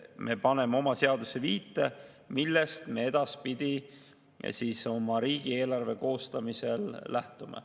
Me paneme oma seadusesse viite, millest me edaspidi oma riigieelarve koostamisel lähtume.